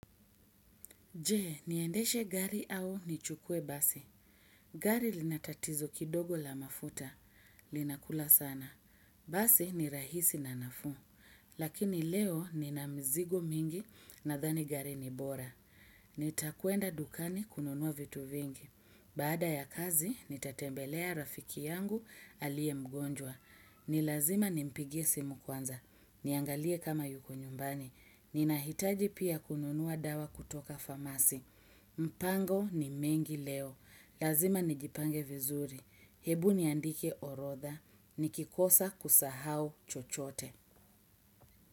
Je, niendeshe gari au nichukue basi. Gari lina tatizo kidogo la mafuta. Linakula sana. Basi ni rahisi na nafuu. Lakini leo nina mzigo mingi nadhani gari ni bora. Nitakwenda dukani kununua vitu vingi. Baada ya kazi, nitatembelea rafiki yangu aliye mgonjwa. Ni lazima nimpigie simu kwanza. Niangalie kama yuko nyumbani. Ninahitaji pia kununua dawa kutoka famasi. Mpango ni mengi leo. Lazima nijipange vizuri. Hebu niandike orodha. Nikikosa kusahau chochote.